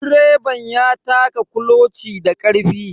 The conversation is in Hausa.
Direban ya taka kuloci da karfe.